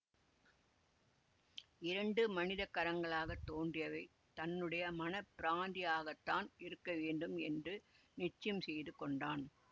இரண்டு மனித கரங்களாகத் தோன்றியவை தன்னுடைய மன பிராந்தியாகத்தான் இருக்கவேண்டும் என்று நிச்சயம் செய்து கொண்டான்